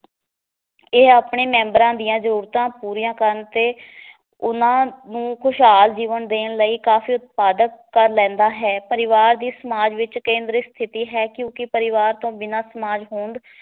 ਇਹ ਆਪਣੇ ਮੈਂਬਰਾਂ ਦੀਆਂ ਜਰੂਰਤਾਂ ਪੂਰੀਆਂ ਕਰਨ ਤੇ ਉਹਨਾਂ ਨੂੰ ਖੁਸ਼ਹਾਲ ਜੀਵਨ ਦੇਣ ਲਈ ਕਾਫੀ ਉਤਪਾਦਕ ਕਰ ਲੈਂਦਾ ਹੈ ਪਰਿਵਾਰ ਦੀ ਸਮਾਜ ਵਿਚ ਕੇਂਦਰੀ ਸਥਿਤੀ ਹੈ ਕਿਉਂਕਿ ਪਰਿਵਾਰ ਤੋਂ ਬਿਨਾ ਸਮਾਜ ਹੋਂਦ